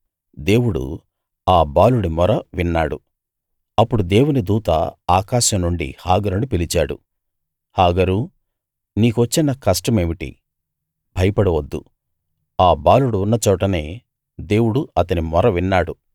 దేవుడు ఆ బాలుడి మొర విన్నాడు అప్పుడు దేవుని దూత ఆకాశం నుండి హాగరును పిలిచాడు హాగరూ నీకు వచ్చిన కష్టం ఏమిటి భయపడవద్దు ఆ బాలుడు ఉన్నచోటనే దేవుడు అతని మొర విన్నాడు